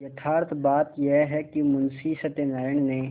यथार्थ बात यह है कि मुंशी सत्यनाराण ने